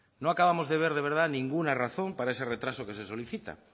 no acabamos de ver de verdad ninguna razón para ese retraso que se solicita